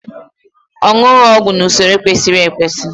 owughị ọgwụ n'usoro kwesịrị ekwesị